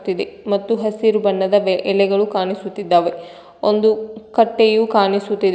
ಇದೆ ಮತ್ತು ಹಸಿರು ಬಣ್ಣದ ಎಲೆಗಳು ಕಾಣಿಸುತ್ತಿದ್ದಾವೆ ಒಂದು ಕಟ್ಟೆಯು ಕಾಣಿಸುತ್ತಿದೆ.